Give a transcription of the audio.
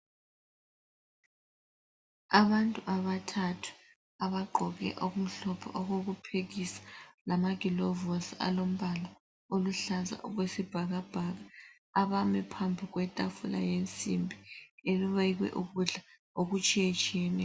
Abantu abathathu abagqoke okumhlophe okokuphekisa lamagilovosi alombala oluhlaza okwesibhakabhaka ,abame phambi kwetafula yensimbi ebekwe ukudla okutshiyetshiyeneyo